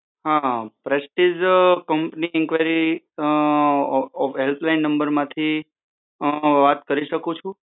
હ Prestige company inquiry helpline નંબરમાંથી વાત કરી શકું છું?